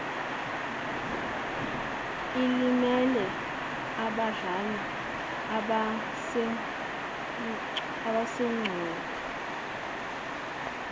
elimele abadlali abasemqoka